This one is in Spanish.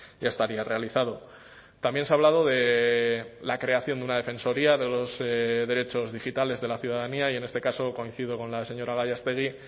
ya estaría realizado también se ha hablado de la creación de una defensoría de los derechos digitales de la ciudadanía y en este caso coincido con la señora gallástegui